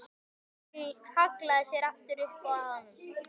Hún hallaði sér aftur upp að honum.